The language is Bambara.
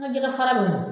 N ka jɛgɛ fara